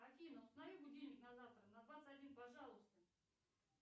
афина установи будильник на завтра на двадцать один пожалуйста